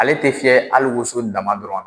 Ale tɛ fiyɛ hali woso dama dɔrɔn na.